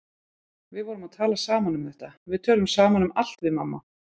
Við vorum að tala saman um þetta, við tölum saman um allt við mamma.